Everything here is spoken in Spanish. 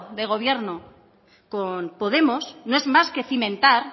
de gobierno con podemos no es más que cimentar